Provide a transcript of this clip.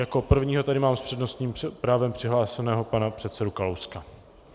Jako prvního tady mám s přednostním právem přihlášeného pana předsedu Kalouska.